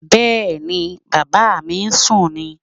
Bẹ́ẹ̀ni, Bàbá mi ń sún ni